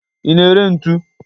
Ị na-ere ntu?